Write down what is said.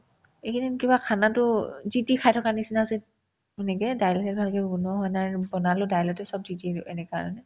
এইকেইদিন কিবা khana তো যি তি খাই থকাৰ নিচিনা হৈছে সেনেকে দাইল সেনেকে কিবাকিবি বনোৱা হোৱা নাই আৰু বনালে দাইলতে চব দি দিওগে এনেকা মানে